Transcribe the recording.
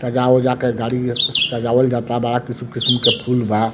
सजा-उजा के गाड़ी नियर सजावल जाता बड़ा किस्म-किस्म के फूल बा।